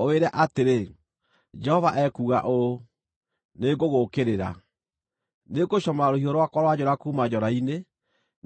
ũwĩre atĩrĩ, ‘Jehova ekuuga ũũ: Nĩngũgũũkĩrĩra. Nĩngũcomora rũhiũ rwakwa rwa njora kuuma njora-inĩ,